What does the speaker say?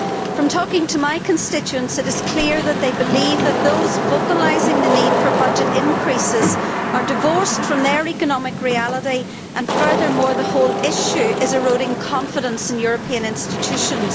From talking to my constituents, it is clear that they believe that those vocalising the need for budget increases are divorced from their economic reality and, furthermore, the whole issue is eroding confidence in European institutions.